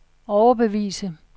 overbevise